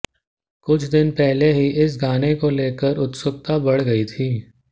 कुछ दिन पहले ही इस गाने को लेकर उत्सुकता बढ़ गई थी